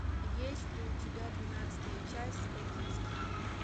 есть ли у тебя двенадцатая часть токийский гуль